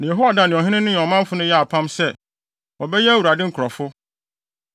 Na Yehoiada ne ɔhene no ne ɔmanfo no yɛɛ apam sɛ, wɔbɛyɛ Awurade nkurɔfo.